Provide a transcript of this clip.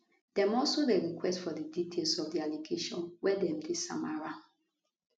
dem also dey request for di details of di allegations wey dem dey sama am